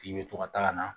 K'i bɛ to ka taa ka na